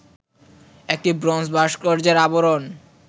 একটি ব্রোঞ্জ ভাস্কর্যের আবরণ